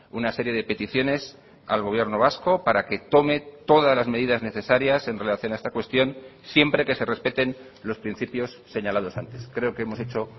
una serie de peticiones al gobierno vasco para que tome todas las medidas necesarias en relación a esta cuestión siempre que se respeten los principios señalados antes creo que hemos hecho